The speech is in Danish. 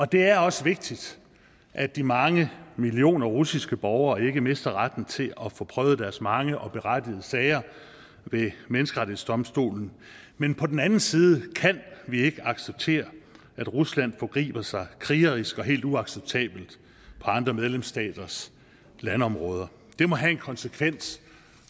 det er også vigtigt at de mange millioner russiske borgere ikke mister retten til at få prøvet deres mange og berettigede sager ved menneskerettighedsdomstolen men på den anden side kan vi ikke acceptere at rusland forgriber sig krigerisk og helt uacceptabelt på andre medlemsstaters landområder det må have en konsekvens